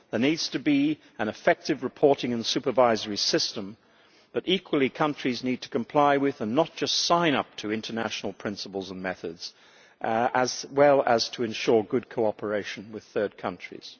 There needs to be an effective reporting and supervisory system, but equally countries need to comply with, and not just sign up to, international principles and methods, as well as to ensure good cooperation with third countries.